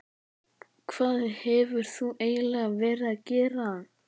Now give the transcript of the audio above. Hvað hefur þú eiginlega verið að gera?